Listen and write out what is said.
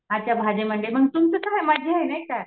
अच्छा भाजी मंडई मग तुमचे आहे नाही का.